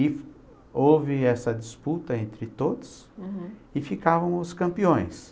E houve essa disputa entre todos, uhum, e ficavam os campeões.